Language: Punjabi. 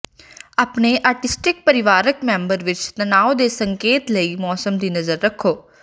ਆਪਣੇ ਆਟੀਸਟਿਕ ਪਰਿਵਾਰਕ ਮੈਂਬਰ ਵਿਚ ਤਣਾਅ ਦੇ ਸੰਕੇਤਾਂ ਲਈ ਮੌਸਮ ਦੀ ਨਜ਼ਰ ਰੱਖੋ